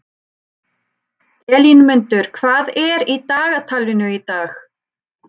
Elínmundur, hvað er í dagatalinu í dag?